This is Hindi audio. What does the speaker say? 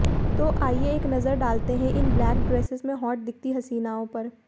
तो आइये एक नज़र डालते हैं इन ब्लैक ड्रेसेस में हॉट दिखती हसीनाओं पर